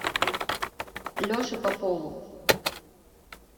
леше попову